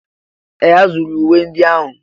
Ee! A zụrụ uwe ndị ahụ.